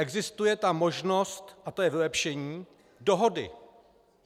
Existuje ta možnost - a to je vylepšení - dohody.